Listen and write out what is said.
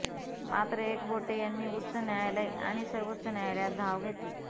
मात्र एकबोटे यांनी उच्च न्यायालय आणि सर्वोच्च न्यायालयात धाव घेतली